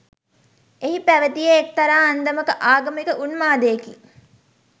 එහි පැවතියේ එක්තරා අන්දමක ආගමික උන්මාදයකි.